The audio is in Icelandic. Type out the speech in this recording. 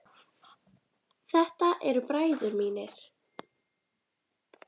Þetta eru bræður mínir.